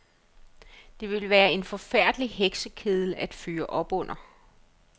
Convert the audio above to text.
Det ville være en forfærdelig heksekedel at fyre op under.